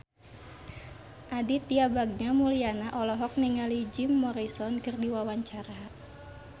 Aditya Bagja Mulyana olohok ningali Jim Morrison keur diwawancara